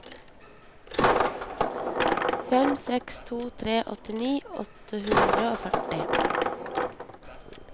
fem seks to tre åttini åtte hundre og førti